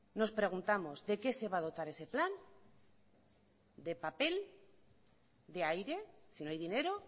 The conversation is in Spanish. nos preguntamos de qué se va a dotar ese plan de papel de aire si no hay dinero